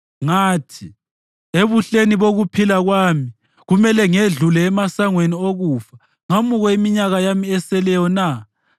Ngathi, “Ebuhleni bokuphila kwami kumele ngedlule emasangweni okufa ngamukwe iminyaka yami eseleyo na?”